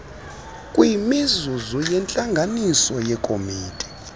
kwimizuzu yentlanganiso yekomiti